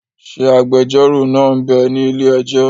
Ṣé agbẹjọ́rò náà m bẹ ní ilé-ẹjọ́?